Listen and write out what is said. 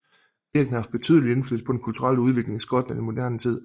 Kirken har haft betydelig indflydelse på den kulturelle udvikling i Skotland i moderne tid